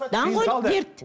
даңғойлық дерт